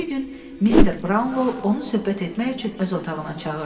Bir gün Mister Braunlo onu söhbət etmək üçün öz otağına çağırdı.